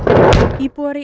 íbúar í